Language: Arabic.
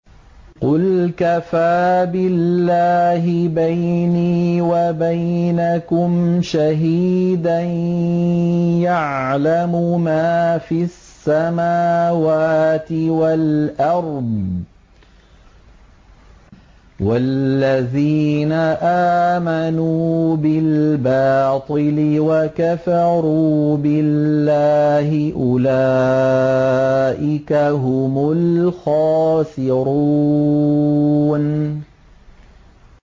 قُلْ كَفَىٰ بِاللَّهِ بَيْنِي وَبَيْنَكُمْ شَهِيدًا ۖ يَعْلَمُ مَا فِي السَّمَاوَاتِ وَالْأَرْضِ ۗ وَالَّذِينَ آمَنُوا بِالْبَاطِلِ وَكَفَرُوا بِاللَّهِ أُولَٰئِكَ هُمُ الْخَاسِرُونَ